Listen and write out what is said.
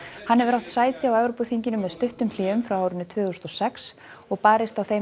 hann hefur átt sæti á Evrópuþinginu með stuttum hléum frá tvö þúsund og sex og barist á þeim